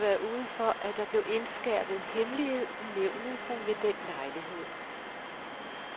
Aldrig har jeg været ude for, at der blev indskærpet hemmelighed i nævnet som ved den lejlighed.